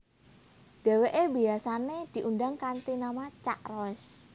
Dheweke biasane diundang kanthi nama Cak Roes